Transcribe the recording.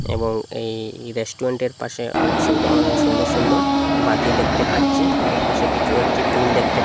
এবং এই রেষ্টুরেন্টের পাশে অনেক সুন্দ সুন্দর সুন্দর বাতি দেখতে পাচ্ছি এবং পাশে কিছু একটি টুল দেখতে পা--